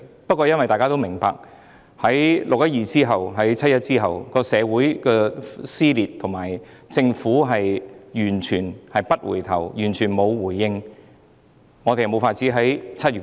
不過，大家也明白，在"六一二"及"七一"後，社會撕裂及政府完全不回應，所以我們無法在7月討論。